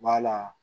Wala